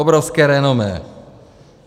Obrovské renomé.